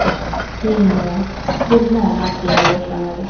Keyinroq, xurmo mavsumi boshlanadi.